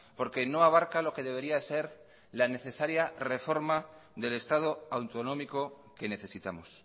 porque no abarca lo que debería ser la necesaria reforma del estado autonómico que necesitamos